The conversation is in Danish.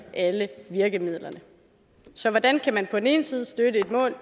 alle virkemidlerne så hvordan kan man på den ene side støtte et mål